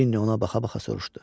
Cini ona baxa-baxa soruşdu.